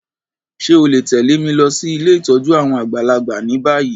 Ṣe o le tẹ̀lé mi losí ilé ìtójú àwon àgbàlagbà ni bayi?